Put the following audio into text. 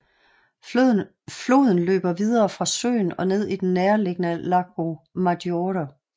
Floden løber videre fra søen og ned i den nærliggende Lago Maggiore